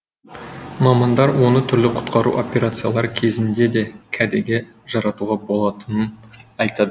мамандар оны түрлі құтқару операциялары кезінде де кәдеге жаратуға болатынын айтады